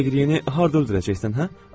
Dəqrieni harda öldürəcəksən, hə?